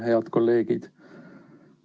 Head kolleegid!